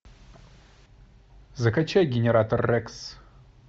закачай генератор рекс